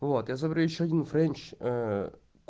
вот я заберу ещё один френч